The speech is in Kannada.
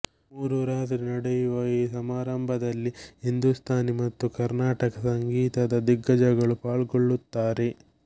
ಮೂರು ರಾತ್ರಿ ನಡೆಯುವ ಈ ಸಮಾರಂಭದಲ್ಲಿ ಹಿಂದೂಸ್ತಾನಿ ಮತ್ತು ಕರ್ನಾಟಕ ಸಂಗೀತದ ದಿಗ್ಗಜಗಳು ಪಾಲ್ಗೊಳ್ಲುತ್ತಾರೆ